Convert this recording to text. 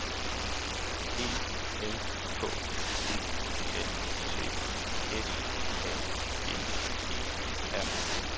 E N K E L T S A G E R